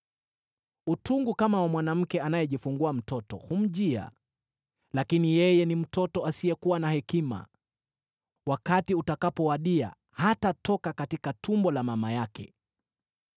Utungu kama wa mwanamke anayejifungua mtoto humjia, lakini yeye ni mtoto asiyekuwa na hekima; wakati utakapowadia hatatoka katika tumbo la mama yake.